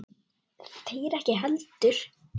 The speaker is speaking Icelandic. Þeir ekki heldur.